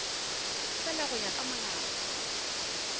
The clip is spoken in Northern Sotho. fela go ya ka molao